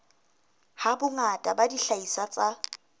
ha bongata ba dihlahiswa tsa